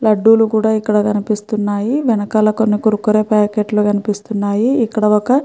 లడ్డు లు కూడా ఇక్కడ కనిపిస్తున్నాయి. వెనకాల కొన్ని కుర్కురే ప్యాకెట్లు కనిపిస్తున్నాయి. ఇక్కడ ఒక --